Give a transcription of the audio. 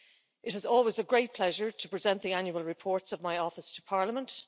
It is always a great pleasure to present the annual reports of my office to Parliament.